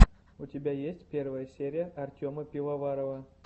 у тебя есть первая серия артема пивоварова